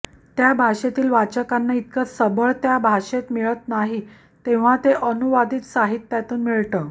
त्या भाषेतील वाचकांना इतकं सबळ त्या भाषेत मिळत नाहीये तेव्हा ते अनुवादित साहित्यातून मिळतं